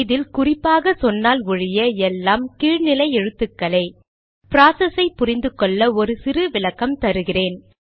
இதில் குறிப்பாக சொன்னால் ஒழிய எல்லாம் கீழ் நிலை எழுத்துக்களே ப்ராசஸை புரிந்து கொள்ள ஒரு சிறு விளக்கம் தருகிறேன்